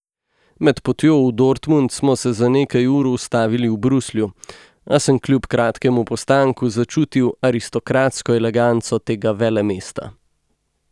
Med potjo v Dortmund smo se za nekaj ur ustavili v Bruslju, a sem kljub kratkemu postanku začutil aristokratsko eleganco tega velemesta.